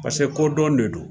Paseke ko dɔn de don.